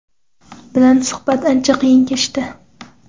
bilan suhbat ancha qiyin kechdi.